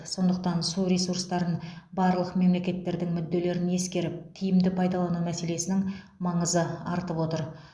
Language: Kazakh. сондықтан су ресурстарын барлық мемлекеттердің мүдделерін ескеріп тиімді пайдалану мәселесінің маңызы артып отыр